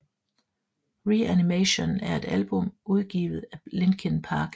Reanimation er et album udgivet af Linkin Park